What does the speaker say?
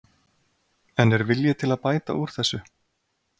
En er vilji til að bæta úr þessu?